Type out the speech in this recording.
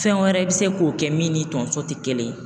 Fɛn wɛrɛ bi se k'o kɛ min ni tonso ti kelen ye